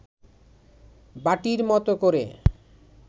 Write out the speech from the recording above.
বাটির মতো করে